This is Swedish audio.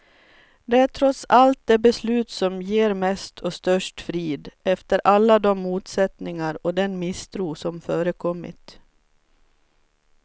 Det är trots allt det beslut som ger mest och störst frid, efter alla de motsättningar och den misstro som förekommit.